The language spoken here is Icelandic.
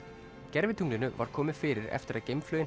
gervitunglinu var komið fyrir eftir að